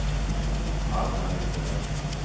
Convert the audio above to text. Alma Lindell